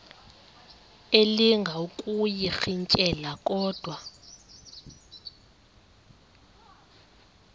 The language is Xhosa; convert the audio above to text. elinga ukuyirintyela kodwa